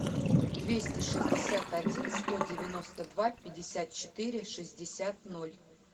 двести шестьдесят один сто девяносто два пятьдесят четыре шестьдесят ноль